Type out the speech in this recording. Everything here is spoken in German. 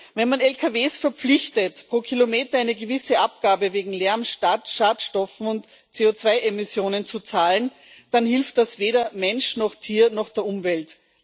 Wenn man Lkw verpflichtet, pro Kilometer eine gewisse Abgabe wegen Lärms, Schadstoffen und CO2 Emissionen zu zahlen, dann hilft das weder Mensch noch Tier noch der Umwelt.